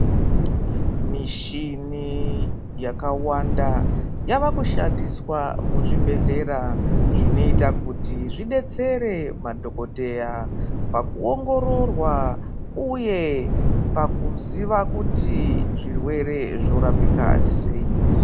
Mishini yakawanda yavakushandiswa muzvibhehlera zvinoita kuti zvidetsere madhokodheya pakuongororwa uye pakuziva kuti zvirwere zvorapika sei.